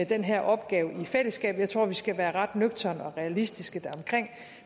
den her opgave i fællesskab jeg tror vi skal være ret nøgterne og realistiske deromkring